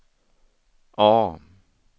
A